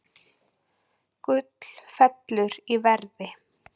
Gull fellur í verði